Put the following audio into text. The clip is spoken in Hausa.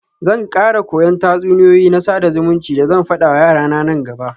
Zan kara koyan tatsuniyoyi na sada zumunci da zan fada wa yarana nan gaba.